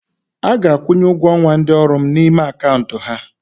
A ga-akwụnye ụgwọ ọnwa ndị ọrụ m n'ime akaụntụ ha.